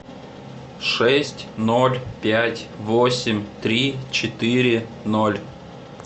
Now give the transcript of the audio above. шесть ноль пять восемь три четыре ноль